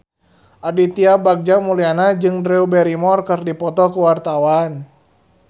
Aditya Bagja Mulyana jeung Drew Barrymore keur dipoto ku wartawan